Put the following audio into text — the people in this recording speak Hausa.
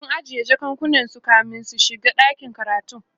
sun ajiye jakakunan su kamin su shiga ɗakin karatun